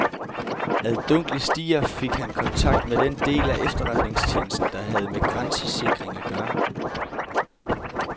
Ad dunkle stier fik han kontakt med den del af efterretningstjenesten, der havde med grænsesikring at gøre.